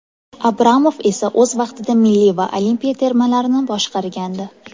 Abramov esa o‘z vaqtida milliy va olimpiya termalarini boshqargandi.